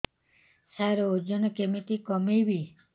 ସାର ଓଜନ କେମିତି କମେଇବି